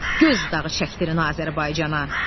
Göz dağı çəkdirin Azərbaycana.